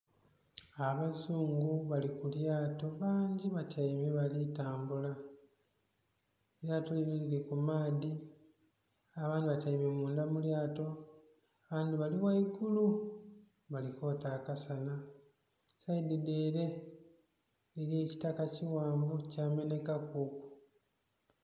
Abazungu bali ku lyaato bangi batyaime bali kutambula eryaato lino liri ku maadhi abandhi batyaime mundha mu lyaato abandhi bali ghaigulu bali kwoota aka sana, saidi dhe're eriyo ekitaaka ekighanvu kya menhekaku.